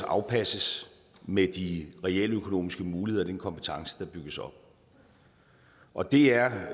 afpasses med de realøkonomiske muligheder og den kompetence der bygges op og det er